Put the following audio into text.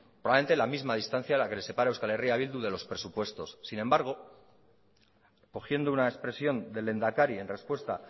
probablemente la misma distancia a la que le separa euskal herria bildu de los presupuestos sin embargo cogiendo una expresión del lehendakari en respuesta